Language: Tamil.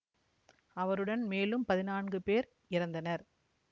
அவருடன் மேலும் பதினான்கு பேர் இறந்தனர்